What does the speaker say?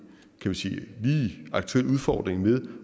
kan sige lige aktuel udfordring med